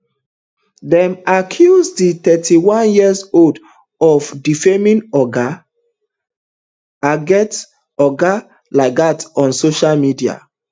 dem accuse di thirty-one years old of defaming oga lagat oga lagat on social media